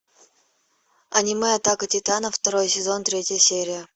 аниме атака титанов второй сезон третья серия